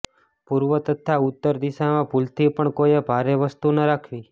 પૂર્વ તથા ઉત્તર દિશામાં ભૂલથી પણ કોઈ ભારે વસ્તુ ન રાખવી